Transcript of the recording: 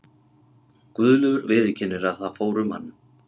Guðlaugur viðurkennir að það fór um hann.